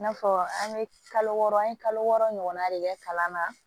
I n'a fɔ an bɛ kalo wɔɔrɔ an ye kalo wɔɔrɔ ɲɔgɔnna de kɛ kalan na